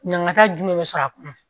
Ɲangata jumɛn bɛ sɔrɔ a kɔnɔ